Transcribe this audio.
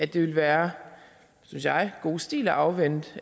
det ville være synes jeg god stil at afvente